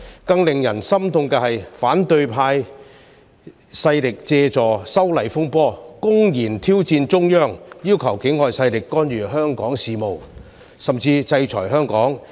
更令人心痛的是，反對派勢力借助修例風波，公然挑戰中央，要求境外勢力干預香港事務，甚至制裁香港。